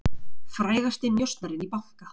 Frægasti njósnarinn í banka